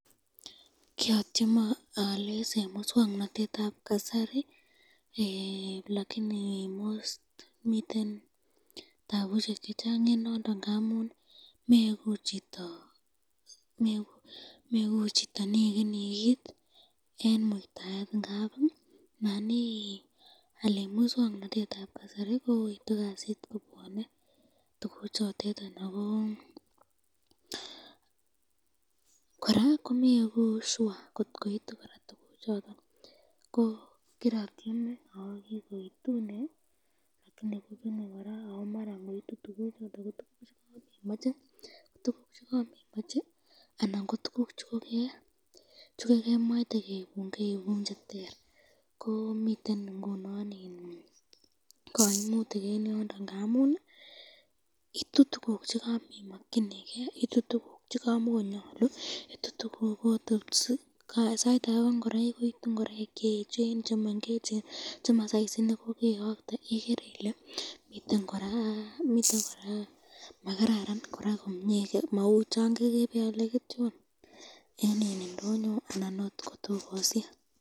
Kiatyeme aalis eng miswoknotetab kasari, lakini komiten tabushek chechang ngamun meeku chito nekeni kit eng muitaet ngap ii Nan ial eng miswoknotetab kasari kouitu kasit in yokte tukuk chotetan koraa komeeku sure kot koitu tukuk chotet alan ,ko kiatyeme aalis eng miswoknotetab kasari, ngoitu tukuk choton ko tukuk chekamemache ,miten kaimutik ngamunikot ko ingoraik koitu cheechen, chemengecheni ,chema saisit nekoke yokte